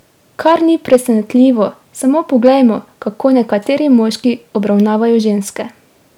Kar ni presenetljivo, samo poglejmo, kako nekateri moški obravnavajo ženske!